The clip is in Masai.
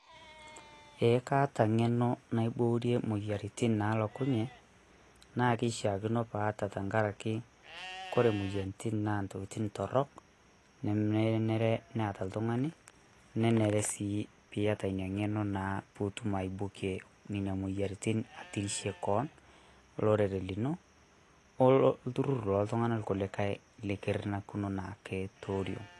ee kaata ngeno naiborie moyiaritin nalokunye na kishakino paata atenkaraki ore moyiaritin na ntokitin torok nemenare pe eta oltungani nenare pe iyata ina ngeno na pitum aibokie nena moyiaritin atirishie kewon olerore lino olturur lontungana kulikae likurtakine naake tioriong.